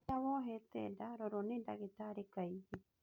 Rĩria wohete nda rorwo nĩ ndagĩtarĩ kaingĩ